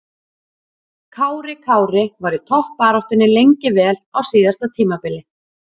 Kári Kári var í toppbaráttunni lengi vel á síðasta tímabili.